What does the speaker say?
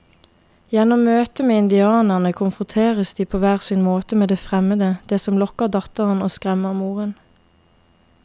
Gjennom møtet med indianerne konfronteres de på hver sin måte med det fremmede, det som lokker datteren og skremmer moren.